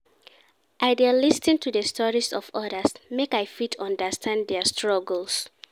I dey lis ten to di stories of odas make I fit understand dia struggles.